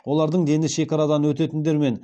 олардың дені шекарадан өтетіндер мен